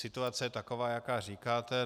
Situace je taková, jak říkáte.